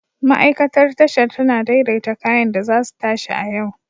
Ma'aikatar Tashar tana daidaita kayan da za su tashi a yau.